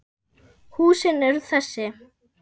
Húsin eru þessi